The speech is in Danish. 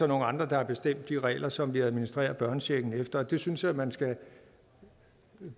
nogle andre der har bestemt de regler som vi administrerer børnechecken efter og det synes jeg at man skal